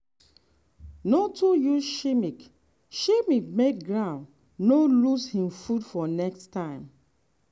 no too use chemic chemic make ground no lose him food for next time.